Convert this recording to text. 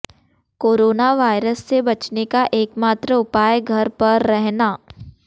corona virus से बचने का एकमात्र उपाए घर पर रहना